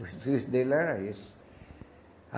O serviço dele era esse. A